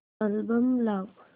album लाव